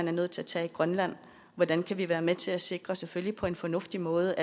er nødt til at tage i grønland hvordan kan vi være med til at sikre selvfølgelig på en fornuftig måde